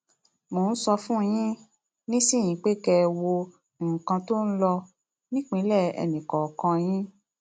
mo ń sọ fún yín um nísìnyìí pé kẹ ẹ wo nǹkan tó ń lọ um nípìnlẹ ẹnìkọọkan yín